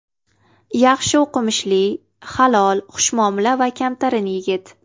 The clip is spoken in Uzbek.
Yaxshi o‘qimishli, halol, xushmuomala va kamtarin yigit.